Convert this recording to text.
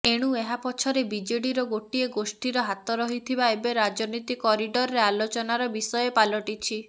ଏଣୁ ଏହା ପଛରେ ବିଜେଡିର ଗୋଟିଏ ଗୋଷ୍ଠୀର ହାତ ରହିଥିବା ଏବେ ରାଜନୀତି କରିଡରରେ ଆଲୋଚନାର ବିଷୟ ପାଲଟିଛି